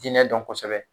Diinɛ dɔn kosɛbɛ